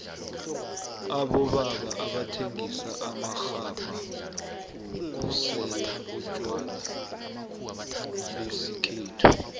abobaba abathengisa amaxhabha wokusela utjwala besikhethu